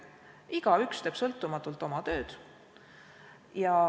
Igaüks teeb sõltumatult oma tööd.